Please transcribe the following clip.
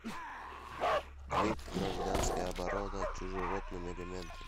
клип гражданская оборона чужеродным элементом